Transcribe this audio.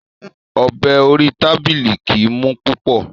Ọ̀bẹ orí tábìlì kìí mú púpọ̀.